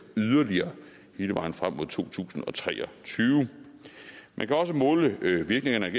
yderligere hele vejen frem mod to tusind og tre og tyve man kan også måle virkningerne af